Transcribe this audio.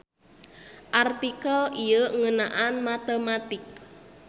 Artikel ieu ngeunaan matematik.